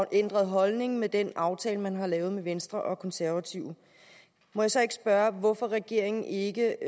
ændret holdning med den aftale man har lavet med venstre og konservative må jeg så ikke spørge hvorfor regeringen ikke